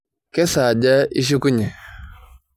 Kesaaja ishukunye?